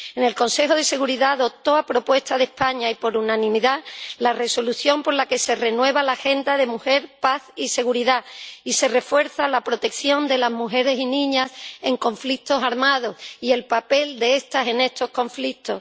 El Consejo de Seguridad aprobó —a propuesta de España y por unanimidad— la Resolución por la que se renueva la agenda de mujer, paz y seguridad y se refuerza la protección de las mujeres y niñas en conflictos armados y el papel de estas en estos conflictos.